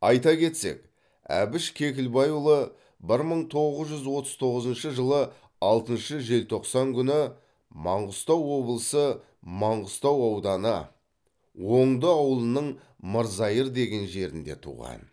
айта кетсек әбіш кекілбайұлы бір мың тоғыз жүз отыз тоғызыншы жылы алтыншы желтоқсан күні маңғыстау облысы маңғыстау ауданы оңды ауылының мырзайыр деген жерінде туған